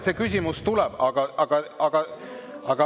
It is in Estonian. See küsimus tuleb.